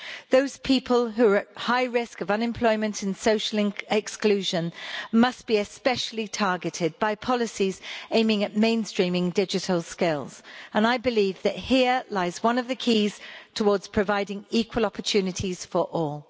Those people who are at high risk of unemployment and social exclusion must be especially targeted by policies aiming at mainstreaming digital skills, and I believe that here lies one of the keys towards providing equal opportunities for all.